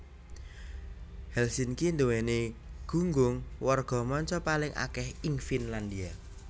Helsinki nduwèni gunggung warga manca paling akèh ing Finlandia